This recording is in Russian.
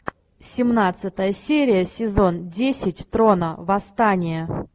семнадцатая серия сезон десять трона восстание